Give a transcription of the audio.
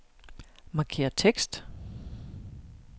Markér tekst.